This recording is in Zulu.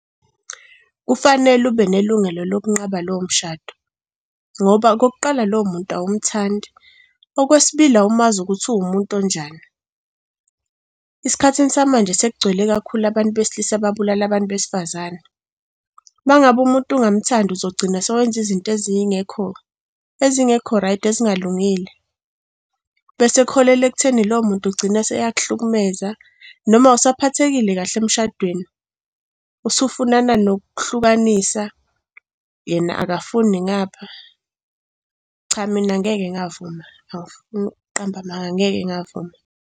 Kufanele ube nelungelo lokunqaba lowo mshado ngoba okokuqala lowo muntu awumthandi, okwesibili, awumazi ukuthi uwumuntu onjani. Esikhathini samanje sekugcwele kakhulu abantu besilisa ababulala abantu besifazane. Uma ngabe umuntu ungamuthandi uzogcina sowenza izinto ezingekho, ezingekho rayidi ezingalungile bese kuholele ekutheni lowo muntu ugcina seyakuhlukumeza. Noma awusaphathekile kahle emshadweni, usufunana nokuhlukanisa yena akafuni ngapha. Cha mina ngeke ngavuma angifuni ukuqamba amanga, ngeke ngavuma.